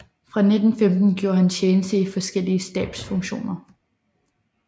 Fra 1915 gjorde han tjeneste i forskellige stabsfunktioner